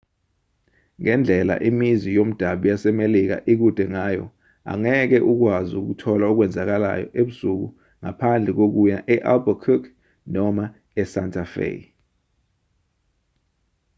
ngendlela imizi yomdabu yasemelika ikude ngayo angeke ukwazi ukuthola okwenzekayo ebusuku ngaphandle kokuya e-albuquerque noma esanta fe